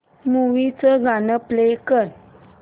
movie चं गाणं play कर